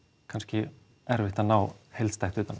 kannski erfitt að ná heildstætt utan